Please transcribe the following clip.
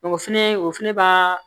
o fɛnɛ o fɛnɛ b'a